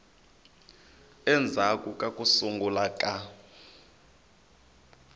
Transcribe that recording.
endzhaku ka ku sungula ka